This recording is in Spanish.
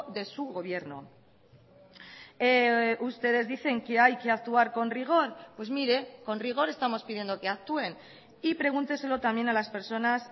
de su gobierno ustedes dicen que hay que actuar con rigor pues mire con rigor estamos pidiendo que actúen y pregúnteselo también a las personas